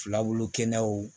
Filabulu kɛnɛyaw